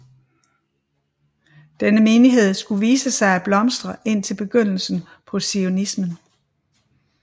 Denne menighed skulle vise sig at blomstre indtil begyndelsen på Zionismen